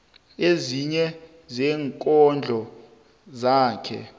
ezinye zeenkondlo zakhe